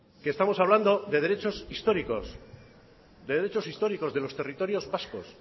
estamos hablando de derechos históricos de los territorios vascos